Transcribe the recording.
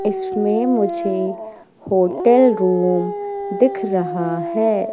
इसमें मुझे hotel room दिख रहा है।